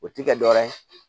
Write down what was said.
O ti kɛ dɔ wɛrɛ ye